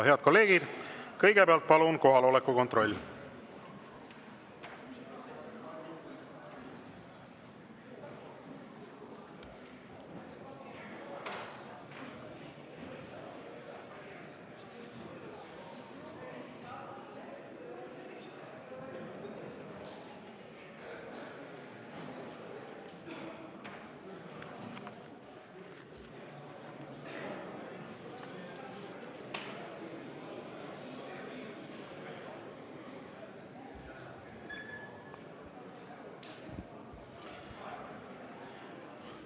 Head kolleegid, kõigepealt palun kohaloleku kontroll!